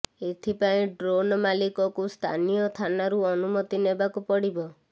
ଏଥିପାଇଁ ଡ୍ରୋନ୍ ମାଲିକକୁ ସ୍ଥାନୀୟ ଥାନାରୁ ଅନୁମତି ନେବାକୁ ପଡ଼ିବ